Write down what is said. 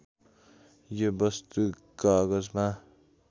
यो वस्तु कागजमा